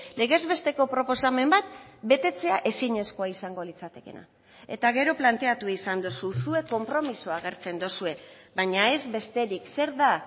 legez besteko proposamen bat betetzea ezinezkoa izango litzatekeena eta gero planteatu izan duzu zuek konpromisoa agertzen duzue baina ez besterik zer da